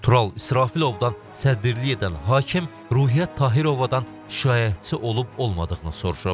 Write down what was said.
Tural İsrafilovdan sədrliyi edən hakim Ruhiyyət Tahirobadan şikayətçi olub olmadığını soruşub.